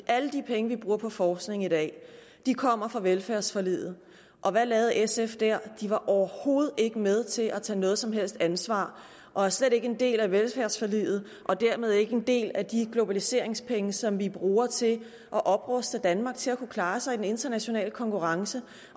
alle de penge vi bruger på forskning i dag kommer fra velfærdsforliget og hvad lavede sf der de var overhovedet ikke med til at tage noget som helst ansvar og er slet ikke en del af velfærdsforliget og dermed ikke en del af de globaliseringspenge som vi bruger til at opruste danmark til at kunne klare sig i den internationale konkurrence